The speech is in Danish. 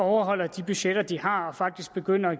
overholder de budgetter de har og faktisk begynder at